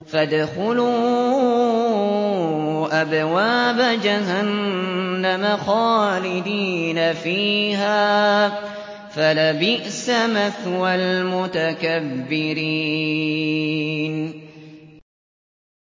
فَادْخُلُوا أَبْوَابَ جَهَنَّمَ خَالِدِينَ فِيهَا ۖ فَلَبِئْسَ مَثْوَى الْمُتَكَبِّرِينَ